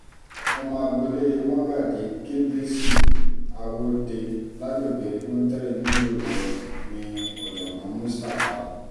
ọmọ agboolé mogaji kbilisi awọ́de lágbègbè güntheri nílùú ìlorin ní ọ̀jọ̀gbọ́n mustapha